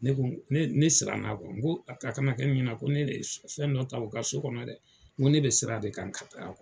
Ne ko ne ne siran n'a n ko a kana kɛ nin ɲɛnɛ ko ne le fɛn dɔ ta a ka so kɔnɔ dɛ n ko ne bɛ siran de k'an ka